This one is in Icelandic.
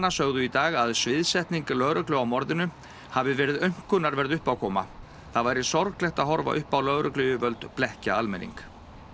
sögðu í dag að sviðsetning lögreglu á morðinu hafi verið aumkunarverð uppákoma það væri sorglegt að horfa upp á lögregluyfirvöld blekkja almenning